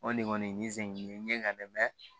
O de kɔni nin sɛgɛn nin ye n ɲɛ n dɛ